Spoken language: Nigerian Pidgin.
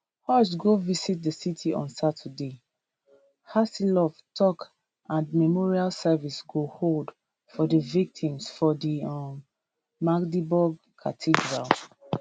scholz go visit di city on saturday haseloff tok and memorial service go hold for di victims for di um magdeburg cathedral